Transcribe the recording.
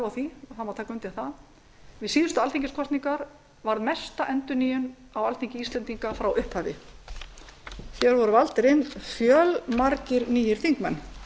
og undir það mátti taka við síðustu alþingiskosningar varð mesta endurnýjun á alþingi íslendinga frá upphafi og valdir hér inn fjölmargir nýir þingmenn eða